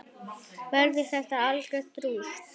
Verður þetta algjört rúst???